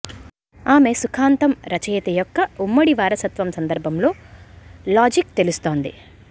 ఆమె సుఖాంతం రచయిత యొక్క ఉమ్మడి వారసత్వం సందర్భంలో లాజిక్ తెలుస్తోంది